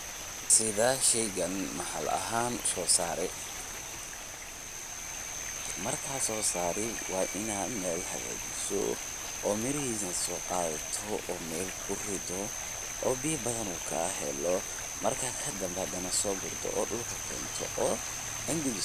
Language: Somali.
Sidhee sheygan maxaali axaan u soo saraay? markan sosari wa inadh meel xagajiso, o mirixisa so qadhato o meel kuridoo, o biya badhan u kaxeelo, marka kadambe xadhanax sogurto o dulka kento.